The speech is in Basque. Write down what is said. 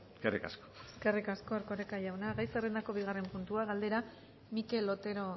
eskerrik asko eskerrik asko erkoreka jauna gai zerrendako bigarren puntua galdera mikel otero